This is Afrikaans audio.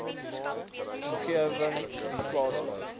omgewing i e